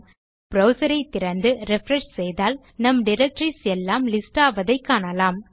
ஆகவே நம் ப்ரவ்சர் ஐ திறந்து ரிஃப்ரெஷ் செய்தால் நம் டைரக்டரிஸ் எல்லாம் லிஸ்ட் ஆவதை காணலாம்